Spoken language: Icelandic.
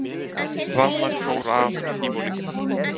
Rafmagn fór af Tívolí